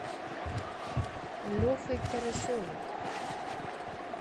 лехой карасевым